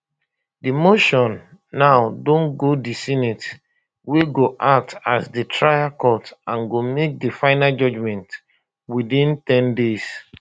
di motion now don go di senate wey go act as di trial court and go make di final judgment within ten days